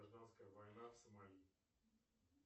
гражданская война в сомали